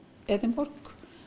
Edinborg